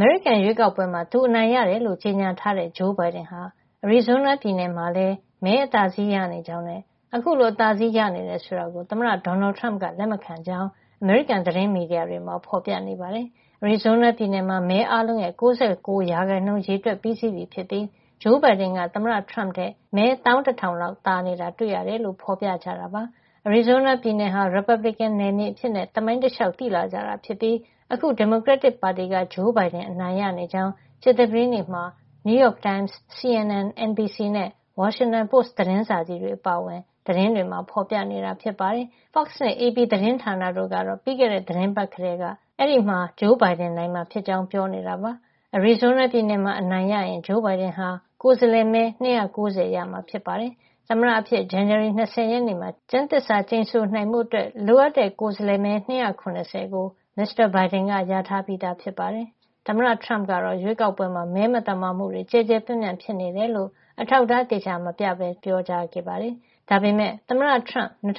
မေရိကန်ရွေးကောက်ပွဲမှာ သူအနိုင်ရတယ်လို့ ကြေညာထားတဲ့ ဂျိုးဘိုင်ဒန်ဟာ Arizona ပြည်နယ် မှာလည်း မဲအသာစီးရနေကြောင်းနဲ့ အခုလို အသာစီးရနေတယ် ဆိုတာကို သမ္မတဒေါ်နယ်ထရမ့်က လက်မခံကြောင်း အမေရိကန်သတင်းမီဒီယာ တွေမှာ ဖေါ်ပြနေပါတယ်။ Arizona ပြည်နယ်မှာ မဲ အားလုံးရဲ့ ၉ ၉ % ရေတွက်ပြီးစီးပြီဖြစ်ပြီး ဂျိုးဘိုင်ဒန်က သမ္မတထရမ့်ထက် မဲ ၁၁,ဝဝဝ လောက်သာနေတာ တွေ့ရတယ်လို့ ဖေါ်ပြကြတာပါ။ Arizona ပြည်နယ်ဟာ ရီပတ်ဘလစ်ကင် နယ်မြေအဖြစ် သမိုင်းတလေ ျှာက် သိလာကြတာ ဖြစ်ပြီး အခု ဒီမိုကရက်တစ်ပါတီက ဂျိုးဘိုင်ဒန် နိုင်နေကြောင်း ကြာသပတေးနေ့မှာ The New York Times, CNN, NBC နဲ့ The Washington Post အပါအဝင် သတင်းတွေမှာ ဖေါ်ပြနေတာဖြစ်ပါတယ်။ Fox နဲ့ Associated Press သတင်းဌာနတို့ကတော့ ပြီးခဲ့တဲ့ သီတင်းပတ်ကတည်းက အဲဒီမှာ ဘိုင်ဒန် နိုင်မှာ ဖြစ်ကြောင်း ပြောနေတာပါ။ Arizona ပြည်နယ်မှာ အနိုင်ရရင် ဂျိုးဘိုင်ဒန်ဟာ ကိုယ်စားလှယ်မဲ ၂၉၀ ရမှာ ဖြစ်ပါတယ်။ သမ္မတအဖြစ် ဇန်နဝါရီလ ၂၀ ရက်နေ့မှာ ကျမ်းသစ္စာကျိန်ဆိုနိုင်ဖို့ အတွက် လိုအပ်တဲ့ ကိုယ်စားလှယ်မဲ ၂၇၀ ကို မစ္စတာဘိုင်ဒန်က ရထား ပြီးသား ဖြစ်ပါတယ်။ ရီပတ်ဘလစ်ကင်ပါတီက သမ္မတထရမ့်ကတော့ ရွေးကောက်ပွဲမှာ မဲမသမာမှုတွေ ကျယ်ကျယ်ပြန့်ပြန့် ဖြစ်ခဲ့ ကြောင်း အထောက်အထား သေသေချာချာ မပြပဲ ထပ်တလဲလဲ ပြောကြားခဲ့တာပါ။ ဒါပေမယ့် သမ္မတထရမ့် ၂၀၁